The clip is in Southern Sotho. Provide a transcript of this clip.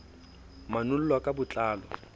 manol lwa ka bo tlalo